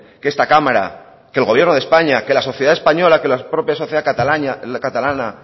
que esta cámara que el gobierno de españa que la sociedad española que la propia sociedad catalana